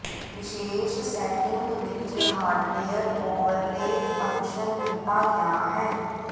ਵਿਸ਼ੇਸ਼ ਸੈਟਿੰਗ ਵਿੱਚ hardware overlay function ਦਿੱਤਾ ਗਿਆ ਹੈ